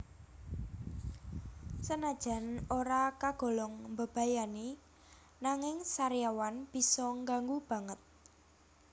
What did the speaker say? Senajan ora kagolong mbebayani nanging sariawan bisa ngganggu banget